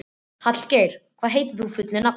Hallgeir, hvað heitir þú fullu nafni?